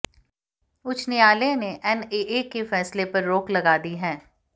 उच्च न्यायालय ने एनएए के फैसले पर रोक लगा दी है